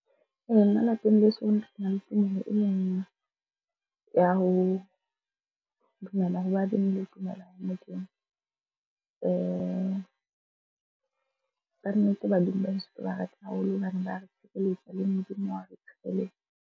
Nna lapeng leso re na le tumelo ya ho dumela ho badimo le ho dumela ho Modimo. Kannete badimo ba heso ke ba rata haholo hobane ba re tshireletsa le Modimo wa re tshireletsa.